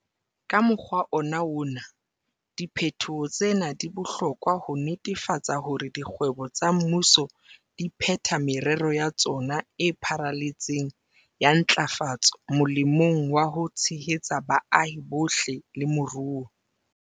Ka mokgwa ona wona, diphetoho tsena di bohlokwa ho netefatsa hore dikgwebo tsa mmuso di phetha merero ya tsona e pharaletseng ya ntlafatso molemong wa ho tshehetsa baahi bohle le moruo.